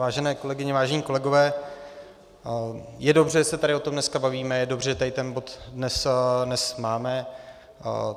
Vážené kolegyně, vážení kolegové, je dobře, že se tady o tom dneska bavíme, je dobře, že tady ten bod dnes máme.